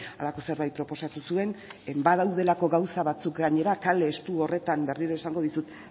halako zerbait proposatu zuen badaudelako gauza batzuk gainera kale estu horretan berriro esango dizut